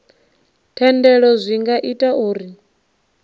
thendelo zwi nga ita uri